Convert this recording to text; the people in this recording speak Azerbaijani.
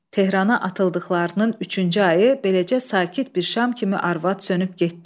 Tehrana atıldıqlarının üçüncü ayı beləcə sakit bir şam kimi arvad sönüb getdi.